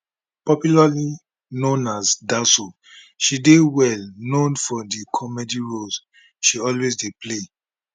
popularly known as daso she dey well known for di comedy roles she always dey play